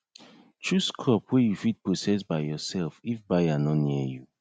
chose crop wey u fit process by urself if buyer nor near you